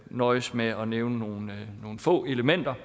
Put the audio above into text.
nøjes med at nævne nogle få elementer